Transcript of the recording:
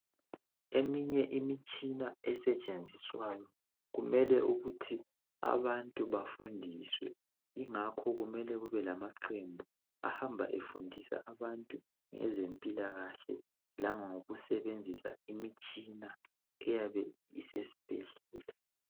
Eminye imitshina esetshenziswa kumele ukuthi abantu bafundiswe ingakho kusiba lamaqembu ahamba efundisa abantu ngeze mpilakahle lango kusebenzisa imitshina eyabe isesibhedlela